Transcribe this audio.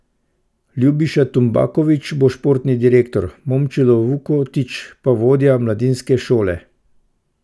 Ljubiša Tumbaković bo športni direktor, Momčilo Vukotić pa vodja mladinske šole.